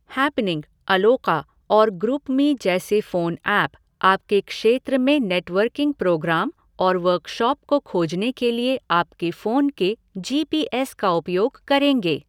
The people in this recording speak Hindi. हैपनिंग, अलोका और ग्रूपमी जैसे फ़ोन ऐप आपके क्षेत्र में नेटवर्किंग प्रोग्राम और वर्कशॉप को खोजने के लिए आपके फ़ोन के जी पी एस का उपयोग करेंगे।